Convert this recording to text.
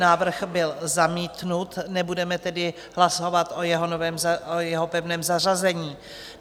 Návrh byl zamítnut, nebudeme tedy hlasovat o jeho pevném zařazení.